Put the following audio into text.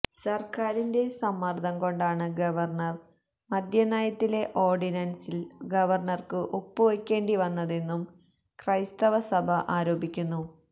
സര്ക്കാരിന്റെ സമ്മര്ദം കൊണ്ടാണ് ഗവര്ണര് മദ്യ നയത്തിലെ ഓര്ഡിനന്സില് ഗവര്ണര്ക്ക് ഒപ്പു വയ്ക്കേണ്ടി വന്നതെന്നും ക്രൈസ്തവ സഭ ആരോപിക്കുന്നു